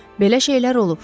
Belə şeylər olub.